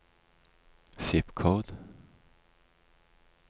zip-kode